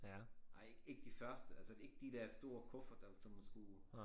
Nej ikke de første altså ikke de der store kufferter som man skulle